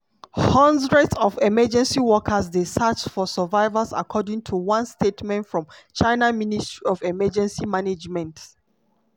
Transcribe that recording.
hundreds of emergency workers dey search for survivors according to one statement from china ministry of emergency management.